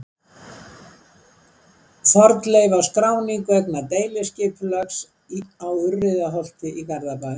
Fornleifaskráning vegna deiliskipulags á Urriðaholti í Garðabæ.